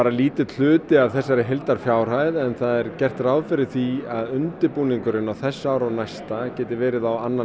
lítill hluti af þessari heildarupphæð en það er gert ráð fyrir því að undirbúningurinn á þessu ári og næsta geti verið á annan